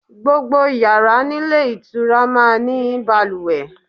Gbogbo yàrá nílé ìtura máa ní balùwẹ̀.